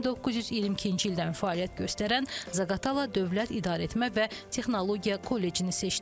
1922-ci ildən fəaliyyət göstərən Zaqatala Dövlət İdarəetmə və Texnologiya Kollecini seçdi.